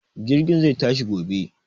Jirgin zai tashi gobe.